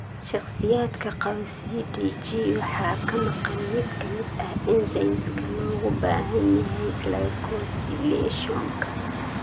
Shakhsiyaadka qaba CDG waxaa ka maqan mid ka mid ah enzymes-ka looga baahan yahay glycosylationka.